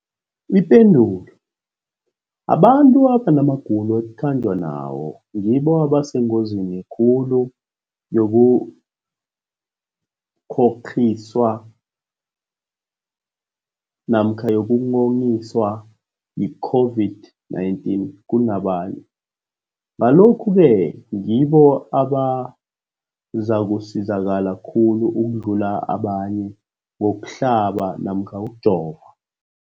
Ipendulo, abantu abanamagulo ekukhanjwa nawo ngibo abasengozini khulu yokukghokghiswa yi-COVID-19 kunabanye, Ngalokhu-ke ngibo abazakusizakala khulu ukudlula abanye ngokuhlaba namkha ngokujova.